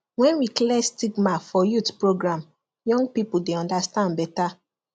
when we clear stigma for youth program young people dey understand better